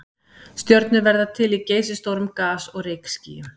stjörnur verða til í geysistórum gas og rykskýjum